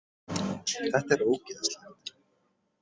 Þetta er ógeðslegt